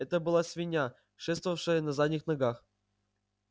это была свинья шествовавшая на задних ногах